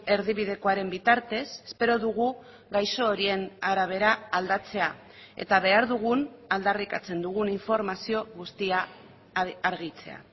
erdibidekoaren bitartez espero dugu gaixo horien arabera aldatzea eta behar dugun aldarrikatzen dugun informazio guztia argitzea